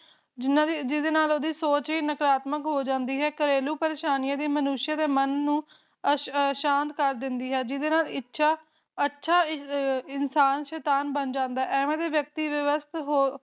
ਜਿਦੇ ਨਾਲ ਉਹਦੀ ਸੋਚ ਵੀ ਨਕਾਰਾਤਮਕ ਹੋ ਜਾਂਦੀ ਹੈ ਘਰੇਲੂ ਪਾਰ੍ਅਸ਼ਾਨਿਆ ਦੀ ਮਨੁਸ਼ ਦੇ ਮਨ ਨੂ ਸ਼ਾਂਤ ਕਰ ਦਿੰਦੀ ਹੈ ਜਿਸ ਨਾਲ ਅਛਾ ਇਨਸਾਨ ਸ਼ੇਤਾਨ ਬਣ ਜਾਂਦਾ ਹੈ ਐਵੇ ਦੇ ਵਿਅਕਤੀ ਦੇ ਬਸ ਹੋਰ